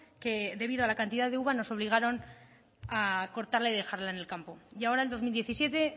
que debido a la cantidad de uva nos obligaron a cortarla y dejarla en el campo y ahora en dos mil diecisiete